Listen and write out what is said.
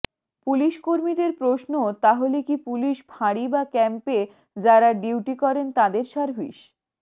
পুলিসকর্মীদের প্রশ্ন তাহলে কি পুলিস ফাঁড়ি বা ক্যাম্পে যাঁরা ডিউটি করেন তাঁদের সার্ভিস